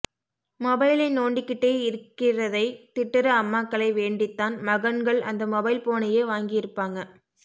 மொபைலை நோண்டி கிட்டே இருக்கிறதைத் திட்டுற அம்மாக்களை வேண்டித்தான் மகன்கள் அந்த மொபைல் போனையே வாங்கியிருப்பாங்க